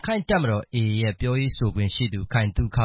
ခိုင့်တပ်မတော် AA ပြောရေးဆိုခွင့်ရှိသူ ခိုင်သုခ